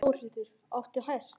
Þórhildur: Áttu hest?